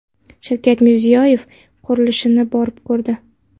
Shavkat Mirziyoyev qurilishni borib ko‘rdi.